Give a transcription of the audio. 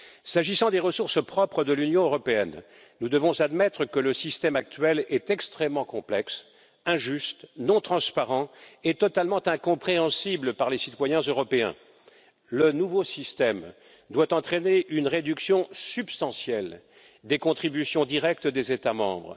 S'agissant des ressources propres de l'Union européenne, nous devons admettre que le système actuel est extrêmement complexe, injuste, non transparent et totalement incompréhensible pour les citoyens européens. Le nouveau système doit entraîner une réduction substantielle des contributions directes des États membres.